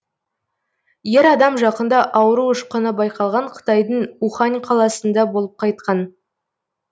ер адам жақында ауру ұшқыны байқалған қытайдың ухань қаласында болып қайтқан